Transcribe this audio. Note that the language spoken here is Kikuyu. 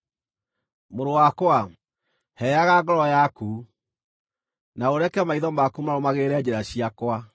Mũrũ wakwa, heaga ngoro yaku, na ũreke maitho maku marũmagĩrĩre njĩra ciakwa,